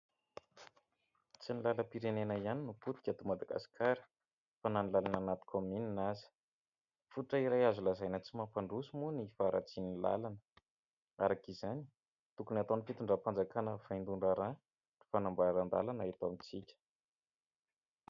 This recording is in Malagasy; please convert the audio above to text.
Tsy ny lalam-pirenena ihany no potika eto Madagasikara, fa na ny lalana anaty kaominina aza. Fototra iray azo lazaina tsy mampandroso moa ny faharatsian'ny lalana. Araka izany, tokony ataon'ny fitondram-panjakana vaindohan-draharaha ny fanamboaran-dalana eto amintsika.